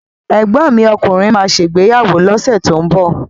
Ẹ̀gbọ́n mi ọkùnrin má ṣè ìgbéyàwó lọ́sẹ̀ tó ń bọ̀